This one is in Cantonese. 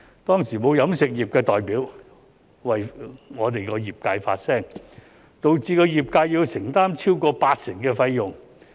當時沒有飲食業代表為業界發聲，導致業界要承擔超過八成的費用。